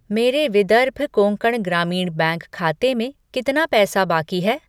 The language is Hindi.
मेरे विदर्भ कोंकण ग्रामीण बैंक खाते में कितना पैसा बाकी है?